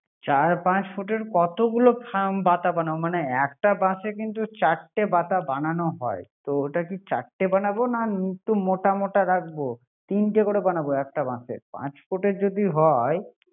চার পাচ ফুটের কতগুলো খাম বাতা বানাবো? মানে একটা বাশে কিন্তু চারটে বাতা বানানো হয় তো ওটাকে চারটা বানাবো না মোটা মোটা রাখবো। তিনটে বানাবো। পাচ ফুটের যদি হয়